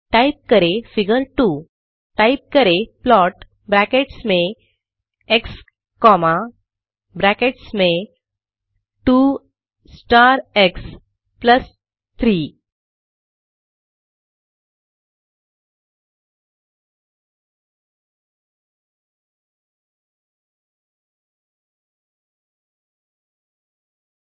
type करें figure 2 type करें plot brackets में एक्स कॉमा ब्रैकेट्स में 2 स्टार एक्स प्लस 3